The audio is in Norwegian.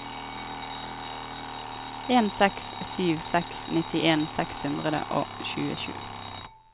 en seks sju seks nittien seks hundre og tjuesju